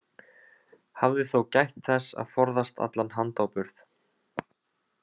Hafði þó gætt þess að forðast allan handáburð.